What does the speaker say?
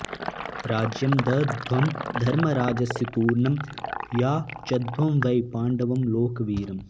राज्यं दद्ध्वं धर्मराजस्य तूर्णं याचध्वं वै पाण्डवं लोकवीरम्